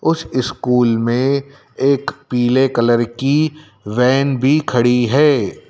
उस स्कूल में एक पीले कलर की वैन भी खड़ी है।